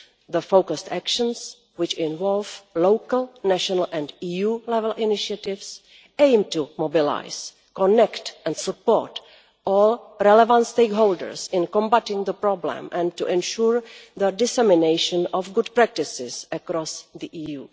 The focused actions, which involve local, national and EU level initiatives, aim to mobilise, connect and support all relevant stakeholders in combating the problem and to ensure the dissemination of good practices across the EU.